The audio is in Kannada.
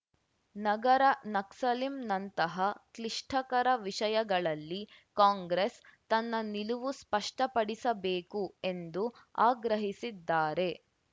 ನಗರ ನಕ್ಸಲಿಂನಂತಹ ಕ್ಲಿಷ್ಟಕರ ವಿಷಯಗಳಲ್ಲಿ ಕಾಂಗ್ರೆಸ್‌ ತನ್ನ ನಿಲುವು ಸ್ಪಷ್ಟಪಡಿಸಬೇಕು ಎಂದು ಆಗ್ರಹಿಸಿದ್ದಾರೆ